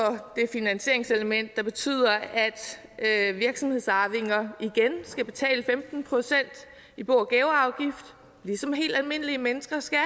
finansieringselement der betyder at virksomhedsarvinger igen skal betale femten procent i bo og gaveafgift ligesom helt almindelige mennesker skal